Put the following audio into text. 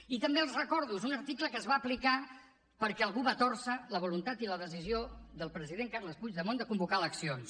i també els ho recordo és un article que es va aplicar perquè algú va tòrcer la voluntat i la decisió del president carles puigdemont de convocar eleccions